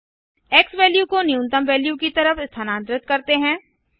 x value को न्यूनतम value की तरफ स्थानांतरित करते हैं